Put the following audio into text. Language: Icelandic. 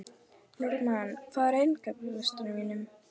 Normann, hvað er á innkaupalistanum mínum?